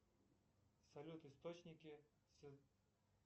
салют источники